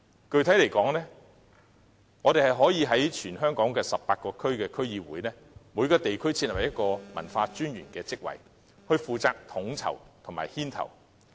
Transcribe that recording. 具體來說，我們可在全港18區區議會，各設立一個文化專員的職位，負責統籌和牽頭。